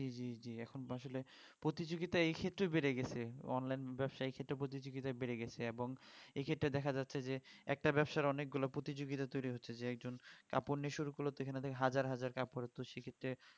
জি জি জি এখন তো আসলে প্রতিযোগিতা এই ক্ষেত্রেও বেড়ে গেছে online ব্যাবসার ক্ষেত্রে প্রতিযোগিতা বেড়ে গেছে এবং এক্ষেত্রে দেখা যাচ্ছে যে একটা ব্যাবসার অনেক গুলো প্রতিযোগিতা তৈরি হচ্ছে যে একজন কাপড় নিয়ে শুরু করলো তো ওখানে দেখে হাজার হাজার কাপড় সেক্ষেত্রে